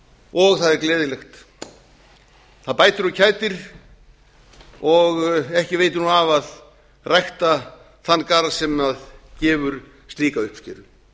og það er gleðilegt það bætir og kætir og ekki veitir nú af að rækta þann garð sem gefur slíka uppskeru